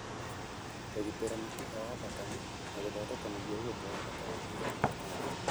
kũgitĩra mĩkiha ya thakame na gũthondeka mũthiũrũrũko wa thakame thĩinĩ wa mwĩrĩ.